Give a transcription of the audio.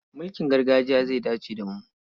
Mulkin gargajiya zai dace da mu.